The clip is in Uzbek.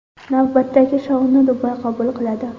Navbatdagi shouni Dubay qabul qiladi.